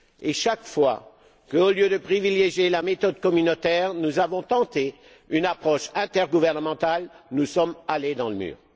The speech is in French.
Or, chaque fois qu'au lieu de privilégier la méthode communautaire, nous avons tenté une approche intergouvernementale, nous sommes allés dans le mur.